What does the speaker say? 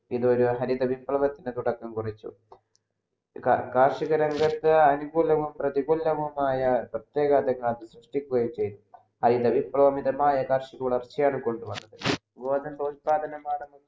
ഇതുവരെ ഹരിത വിപ്ലവത്തിന് തുടക്കം കുറിച്ചു കാർഷിക രംഗത് അനുകൂലവും പ്രതികൂലവും ആയ സൃഷ്ടിക്കുകയും ചെയ്തു ഹരിത വിപ്‌ളവമായ മിതമായ കാർഷിക ഉയർച്ചയാണ് കൊണ്ടുവന്നത് പ്രോത്സാഹ